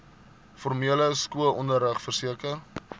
formele skoolonderrig verseker